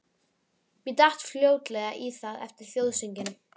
Ég datt fljótlega í það eftir þjóðsönginn.